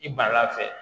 I bara fɛ